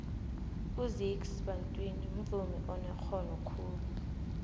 uzakes bantwini mvumi onerhono khulu